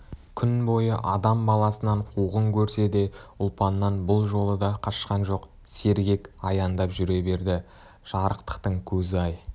күн бойы адам баласынан қуғын көрсе де ұлпаннан бұл жолы да қашқан жоқ сергек аяңдап жүре берді жарықтықтың көзі-ай